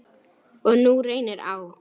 Og nú reynir á.